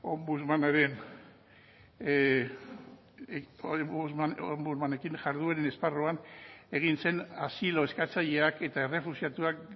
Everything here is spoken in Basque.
ombudsmanekin jardueren esparruan egin zen asilo eskatzaileak eta errefuxiatuak